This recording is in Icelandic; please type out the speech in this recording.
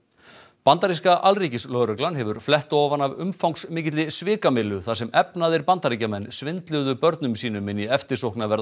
bandaríska alríkislögreglan hefur flett ofan af umfangsmikilli svikamyllu þar sem efnaðir Bandaríkjamenn svindluðu börnum sínum inn í eftirsóknarverða